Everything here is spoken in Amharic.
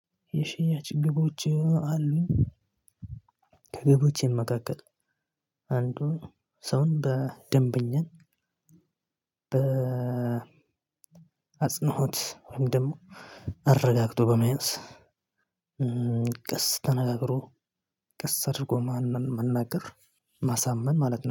የሽያጭ ግቦች አሉኝ። ከግቦች የመካከል አንዱን ሰውን በደንብና በ አጽንኦት ወይም ደግሞ አረጋግጦ በመያዝ ቀስ ተነጋግሮ ቀስ አድርጎ ማንም መናገር ማሳመን ማለት ነው